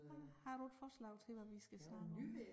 Ja har du et forslag til vi skal snakke om